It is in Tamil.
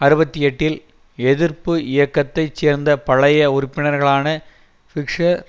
அறுபத்தி எட்டில் எதிர்ப்பு இயக்கத்தை சேர்ந்த பழைய உறுப்பினர்களான பிஷ்சர்